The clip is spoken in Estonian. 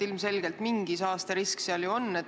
Ilmselgelt mingi saasterisk seal ju on.